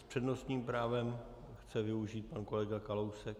S přednostním právem chce využít pan kolega Kalousek?